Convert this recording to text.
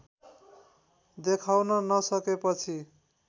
देखाउन नसकेपछि